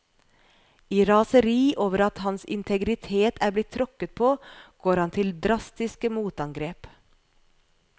I raseri over at hans integritet er blitt tråkket på går han til drastiske motangrep.